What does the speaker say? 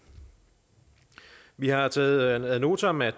vi har taget ad notam at